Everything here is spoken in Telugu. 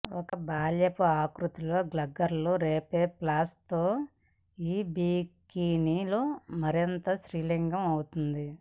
ఒక బాల్యపు ఆకృతితో గర్ల్ రఫ్ఫ్లేస్ తో ఈ బికినీ లో మరింత స్త్రీలింగ అవుతుంది